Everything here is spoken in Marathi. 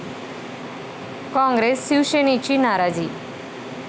काँग्रेस, शिवसेनेची नाराजी